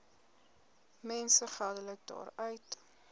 mense geldelik daaruit